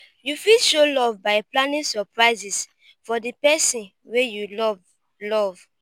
you fit show love by planning surprises for di person wey you love love